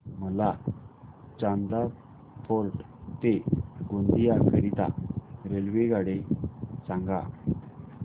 मला चांदा फोर्ट ते गोंदिया करीता रेल्वेगाडी सांगा